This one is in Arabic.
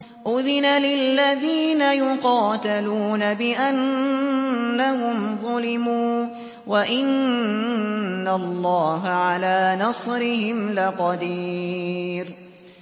أُذِنَ لِلَّذِينَ يُقَاتَلُونَ بِأَنَّهُمْ ظُلِمُوا ۚ وَإِنَّ اللَّهَ عَلَىٰ نَصْرِهِمْ لَقَدِيرٌ